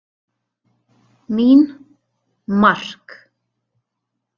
Mín: Mark!!!!!